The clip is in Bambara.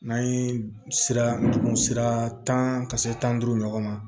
N'an ye sira dugun sira tan ka se tan duuru ɲɔgɔn ma